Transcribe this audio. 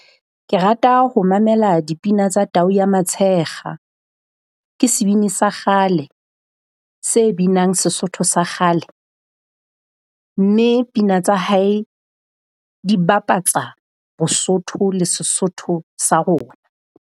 Ke rata ho mamela dipina tsa Tau Ya Matshekga. Ke sebini sa kgale se binang seSotho sa kgale mme pina tsa hae di bapatsa boSothu le seSotho sa rona.